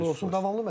Uğurlu olsun.